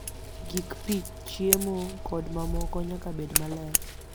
Gik pi, chiemo, kod mamoko nyaka bed maler